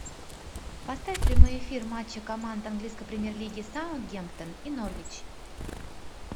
поставь прямой эфир матча команд английской премьер лиги саутгемптон и норвич